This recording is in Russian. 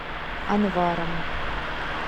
анваром